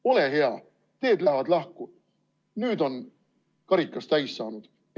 Ole hea, meie teed lähevad lahku, nüüd on karikas täis saanud.